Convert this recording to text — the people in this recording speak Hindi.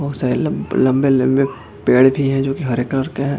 बहुत सारे ल लम्बे लम्बे पेड़ भी हैं जो की हरे कलर के हैं।